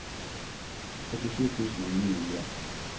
førtisju tusen og ni hundre